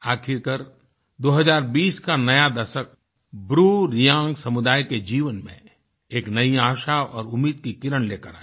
आखिरकार 2020 का नया दशक ब्रूरेंग समुदाय के जीवन में एक नई आशा और उम्मीद की किरण लेकर आया